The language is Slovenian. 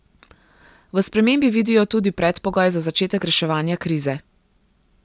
V spremembi vidijo tudi predpogoj za začetek reševanja krize.